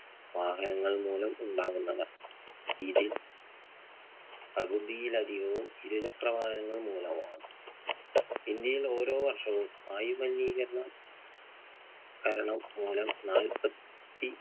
വാഹനങ്ങൾ മൂലം ഉണ്ടാകുന്നതാണ്. ഇതിൽ പകുതിയിലധികവും ഇരു ചക്ര വാഹനങ്ങൾ മൂലമാണ്. ഇന്ത്യയിൽ ഓരോ വർഷവും വായു മലിനീകരണം കരണം മൂലം നാൽപ്പത്തി